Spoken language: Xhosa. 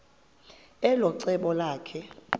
elo cebo lakhe